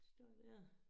Står dér